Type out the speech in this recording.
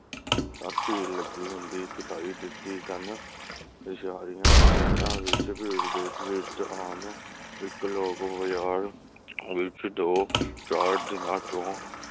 ਤਕ ਭੀੜ ਲੱਗੀ ਹੁੰਦੀ ਦਿਖਾਈ ਦਿਤੀ ਸਨ ਤੇ ਸਹਿਰੀਆਂ ਸ਼ਹਿਰਾਂ ਵਿਚ ਭੀੜ ਦੇ ਦ੍ਰਿਸ਼ ਆਮ ਇਕ ਲੱਖ ਹਜ਼ਾਰ ਵਿਚ ਦੋ ਚਾਰ ਦਿਨਾਂ ਤੋਂ